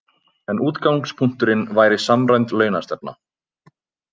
En útgangspunkturinn væri samræmd launastefna